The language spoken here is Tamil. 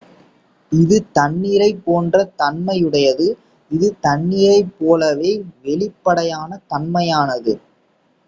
"""இது தண்ணீரைப் போன்ற தன்மையுடையது. இது தண்ணீரைப்போலவே வெளிப்படையான தன்மையானது.